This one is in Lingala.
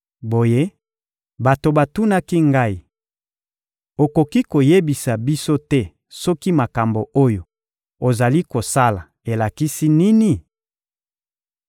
Boye, bato batunaki ngai: — Okoki koyebisa biso te soki makambo oyo ozali kosala elakisi nini?